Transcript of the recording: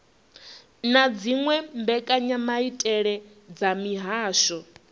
na dziwe mbekanyamaitele dza mihasho